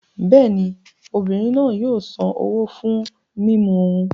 Bẹ́ẹ̀ ni, obìnrin náà yóò san owó fún ohun mímu òún.